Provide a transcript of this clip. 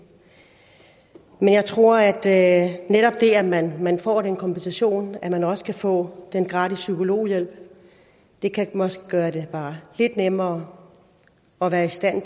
men jeg tror at det at man man får den kompensation og at man også kan få gratis psykologhjælp måske kan gøre det bare lidt nemmere at være i stand